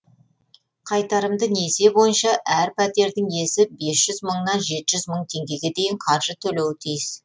қайтарымды несие бойынша әр пәтердің иесі бес жүз мыңнан жеті жүз мың теңгеге дейін қаржы төлеуі тиіс